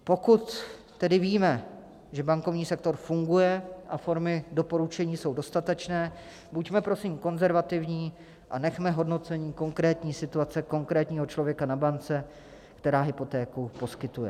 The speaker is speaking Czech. Pokud tedy víme, že bankovní sektor funguje a formy doporučení jsou dostatečné, buďme prosím konzervativní a nechme hodnocení konkrétní situace konkrétního člověka na bance, která hypotéku poskytuje.